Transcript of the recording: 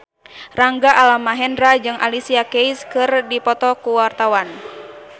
Rangga Almahendra jeung Alicia Keys keur dipoto ku wartawan